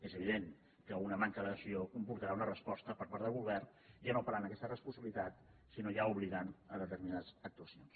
és evident que una manca d’ad·hesió comportarà una resposta per part del govern ja no parlant d’aquesta responsabilitat sinó ja obligant a determinades actuacions